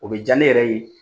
O bɛ diya ne yɛrɛ ye